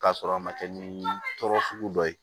K'a sɔrɔ a ma kɛ ni tɔɔrɔ sugu dɔ ye